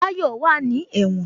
Tayọ wá ní ẹ̀wọ̀n